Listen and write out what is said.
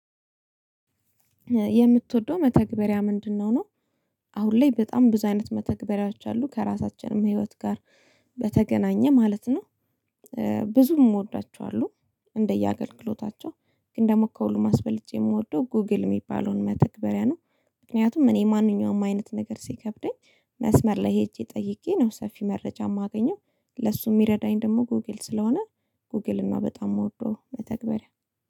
የምትወደው መተግበሪያ ምንድነው ነው? አሁን ላይ በጣም ብዙ አይነት መተግበሪያዎች አሉ ከራሳችንም ህይወት ጋር በተገናኘ ማለት ነው። ብዙም እምወዳቸው አሉ። እንደየአገልግሎታቸው ግን ደግሞ ከሁሉም አስበልጬ የምወደው ጎግል የሚባለውን መተግበሪያ ነው። ምክንያቱም እኔ ማንኛውም አይነት ነገር ሲከብደኝ መስመር ላይ ሄጄ ጠይቄ ነው ሰፊ መረጃ የማገኘው ለሱ የሚረዳኝ ደግሞ ጎግል ስለሆነ። ጎግል እና በጣም የምወደው መተግበሪያ